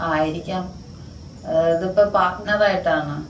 ആയിരിക്കാം. ഇതിപ്പോ പാർട്ണറായിട്ടാണ്.